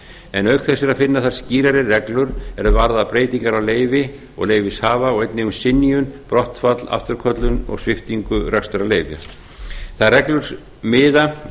en auk þess er að finna þar skýrari reglur er varða breytingar á leyfi og leyfishafa og einnig um synjun brottfall afturköllun og sviptingu rekstrarleyfis þær reglur miða